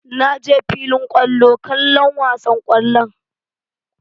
Na je filin kwallo kallon wasan ƙwallon.